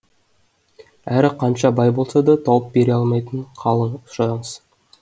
әрі қанша бай болса да тауып бере алмайтын қалың сұраңыз